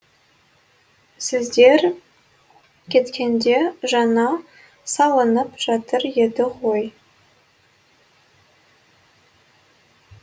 сіздер кеткенде жаңа салынып жатыр еді ғой